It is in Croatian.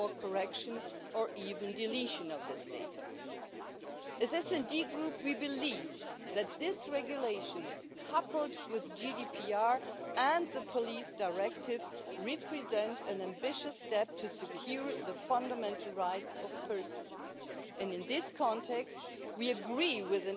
svesrdno podupirem i ujedno koristim priliku da zahvalim izvjestiteljici Ernst na ovome izvješću. S posebnom bih se pažnjom željela osvrnuti na činjenicu da je u primjeni ove Uredbe od ključne važnosti osigurati to da su agencije Unije koje obrađuju operativne podatke, posebice kada je riječ o istraživanju kaznenih djela i progona počinitelja,